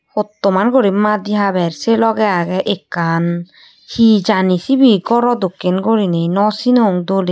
Hottoman guri maadi haber sei lohgey agey ekkan hee jani sibey goro dokken goriney no sinong doley.